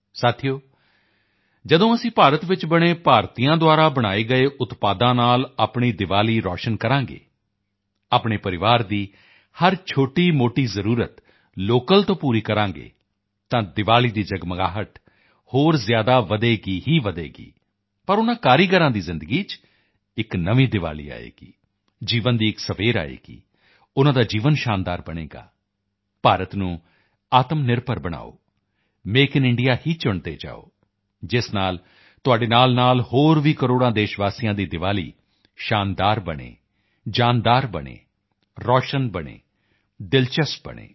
ਸਾਥੀਓ ਜਦੋਂ ਅਸੀਂ ਭਾਰਤ ਚ ਬਣੇ ਭਾਰਤੀਆਂ ਦੁਆਰਾ ਬਣਾਏ ਗਏ ਉਤਪਾਦਾਂ ਨਾਲ ਆਪਣੀ ਦੀਵਾਲੀ ਰੌਸ਼ਨ ਕਰਾਂਗੇ ਆਪਣੇ ਪਰਿਵਾਰ ਦੀ ਹਰ ਛੋਟੀਮੋਟੀ ਜ਼ਰੂਰਤ ਲੋਕਲ ਤੋਂ ਪੂਰੀ ਕਰਾਂਗੇ ਤਾਂ ਦੀਵਾਲੀ ਦੀ ਜਗਮਗਾਹਟ ਹੋਰ ਜ਼ਿਆਦਾ ਵਧੇਗੀ ਹੀ ਵਧੇਗੀ ਪਰ ਉਨ੍ਹਾਂ ਕਾਰੀਗਰਾਂ ਦੀ ਜ਼ਿੰਦਗੀ ਵਿੱਚ ਇੱਕ ਨਵੀਂ ਦੀਵਾਲੀ ਆਏਗੀ ਜੀਵਨ ਦੀ ਇੱਕ ਸਵੇਰ ਆਏਗੀ ਉਨ੍ਹਾਂ ਦਾ ਜੀਵਨ ਸ਼ਾਨਦਾਰ ਬਣੇਗਾ ਭਾਰਤ ਨੂੰ ਆਤਮਨਿਰਭਰ ਬਣਾਓ ਮੇਕ ਇਨ ਇੰਡੀਆ ਹੀ ਚੁਣਦੇ ਜਾਓ ਜਿਸ ਨਾਲ ਤੁਹਾਡੇ ਨਾਲਨਾਲ ਹੋਰ ਵੀ ਕਰੋੜਾਂ ਦੇਸ਼ਵਾਸੀਆਂ ਦੀ ਦੀਵਾਲੀ ਸ਼ਾਨਦਾਰ ਬਣੇ ਜਾਨਦਾਰ ਬਣੇ ਰੌਸ਼ਨ ਬਣੇ ਦਿਲਚਸਪ ਬਣੇ